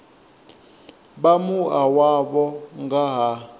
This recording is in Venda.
vha mua wavho nga ha